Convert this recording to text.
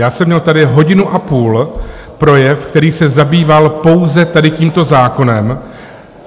Já jsem měl tady hodinu a půl projev, který se zabýval pouze tady tímto zákonem.